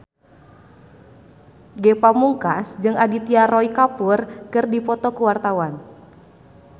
Ge Pamungkas jeung Aditya Roy Kapoor keur dipoto ku wartawan